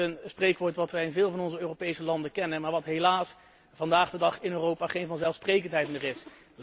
Dat is een spreekwoord dat wij in veel van onze Europese landen kennen, maar dat helaas vandaag de dag in Europa geen vanzelfsprekendheid meer is.